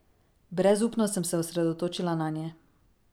Brezupno sem se osredotočila nanje.